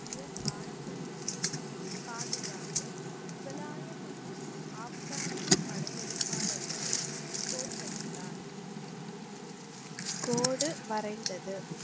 கிய பாரம்பரியத்தை பாதுகாத்து முகலாய மற்றும் ஆப்கானிய படையெடுப்பாளர்களை தோற்கடித்தார். கோடு வரைந்தது.